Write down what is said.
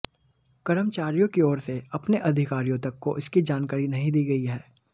कर्मचारियों की ओर से अपने अधिकारियों तक को इसकी जानकारी नहीं दी गई है